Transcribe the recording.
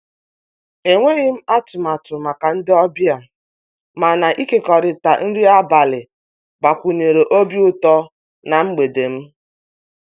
E nweghịm atụmatụ maka ndị ọbịa, mana ịkekọrịta nri abalị gbakwunyere obi utọ na mgbede m.